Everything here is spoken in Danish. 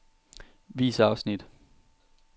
Vis afsnit.